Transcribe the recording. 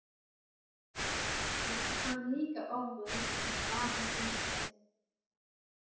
Hann kann líka orðið að svara fyrir sig.